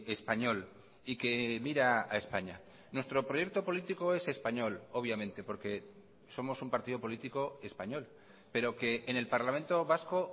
español y que mira a españa nuestro proyecto político es español obviamente porque somos un partido político español pero que en el parlamento vasco